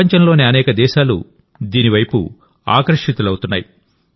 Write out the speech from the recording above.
ప్రపంచంలోని అనేక దేశాలు దీని వైపు ఆకర్షితులవుతున్నాయి